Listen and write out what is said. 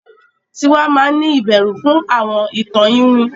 Tiwa mán ni ìbẹrù fún àwọn ìtàn iwin.